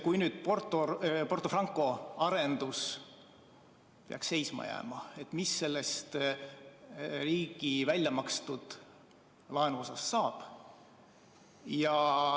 Kui nüüd Porto Franco arendus peaks seisma jääma, siis mis sellest riigi väljamakstud laenuosast saab?